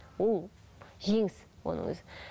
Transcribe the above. ол жеңіс оның өзі